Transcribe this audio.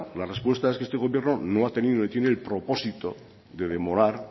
la respuesta es que este gobierno no ha tenido ni tiene el propósito de demorar